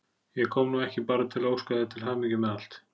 Ég kom nú ekki bara til að óska þér til hamingju með allt.